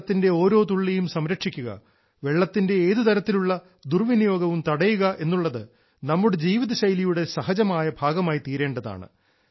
വെള്ളത്തിന്റെ ഓരോ തുള്ളിയും സംരക്ഷിക്കുക വെള്ളത്തിന്റെ ഏതുതരത്തിലുള്ള ദുർവിനിയോഗവും തടയുക എന്നുള്ളത് നമ്മുടെ ജീവിതശൈലിയുടെ സഹജമായ ഭാഗമായി തീരേണ്ടതാണ്